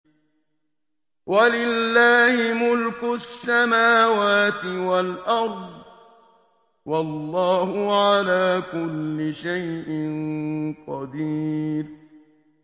وَلِلَّهِ مُلْكُ السَّمَاوَاتِ وَالْأَرْضِ ۗ وَاللَّهُ عَلَىٰ كُلِّ شَيْءٍ قَدِيرٌ